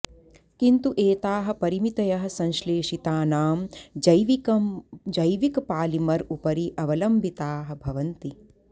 किन्तु एताः परिमितयः संश्लेशितानां जैविकपालिमर् उपरि अवलम्बिताः भवन्ति